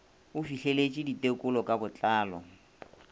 o fihleletše ditekolo ka botlalo